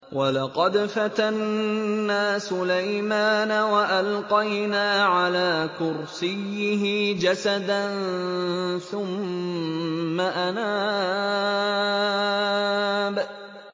وَلَقَدْ فَتَنَّا سُلَيْمَانَ وَأَلْقَيْنَا عَلَىٰ كُرْسِيِّهِ جَسَدًا ثُمَّ أَنَابَ